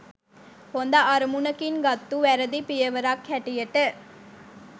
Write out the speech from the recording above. හොඳ අරමුණකින් ගත්තු වැරදි පියවරක් හැටියට